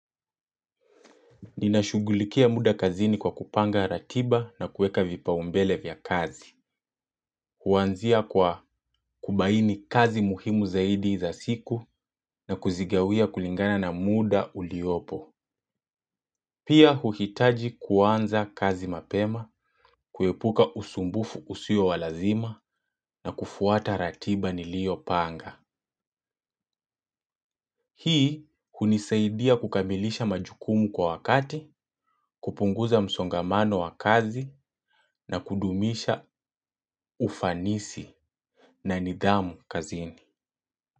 Ninashugulikia muda kazini kwa kupanga ratiba na kuweka vipaumbele vya kazi. Kuanzia kwa kubaini kazi muhimu zaidi za siku na kuzigawia kulingana na muda uliopo. Pia huhitaji kuanza kazi mapema, kuepuka usumbufu usio wa lazima na kufuata ratiba niliyopanga. Hii hunisaidia kukamilisha majukumu kwa wakati, kupunguza msongamano wa kazi na kudumisha ufanisi na nidhamu kazini.